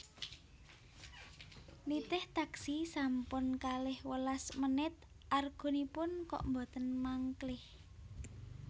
Nitih taksi sampun kalih welas menit argonipun kok mboten mangklih